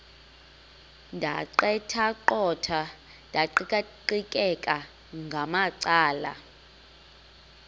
ndaqetheqotha ndiqikaqikeka ngamacala